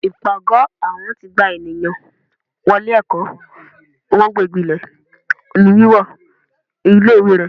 ipágọ awọn ti gbá ènìyàn wọlé ẹkọ, wọn gbégíle lé wíwọ ilé ìwé ré